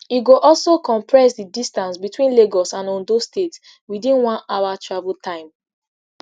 e go also compress di distance between lagos and ondo state witin one hour travel time